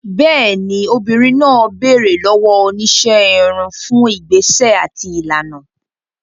Bẹ́ẹ̀ni, obìnrin náà béèrè lọ́wọ́ oníṣẹ́ irun fún ìgbésẹ̀ àti ìlànà.